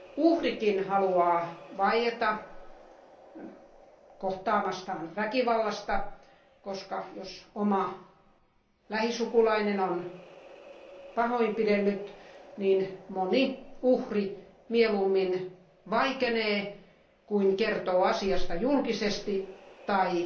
Uhrikin haluaa vaieta kohtaamastaan väkivallasta, koska jos oma lähisukulainen on pahoinpidellyt, niin moni uhri mieluummin vaikenee, kuin kertoo asiasta julkisesti tai